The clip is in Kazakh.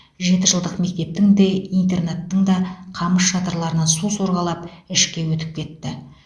жетіжылдық мектептің де интернаттың да қамыс шатырларынан су сорғалап ішке өтіп кетті